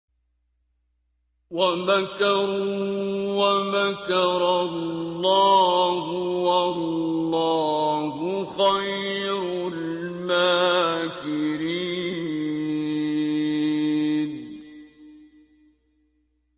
وَمَكَرُوا وَمَكَرَ اللَّهُ ۖ وَاللَّهُ خَيْرُ الْمَاكِرِينَ